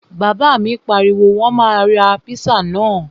Bàbá mi pariwo, Wọ́n máa ra píṣà náà!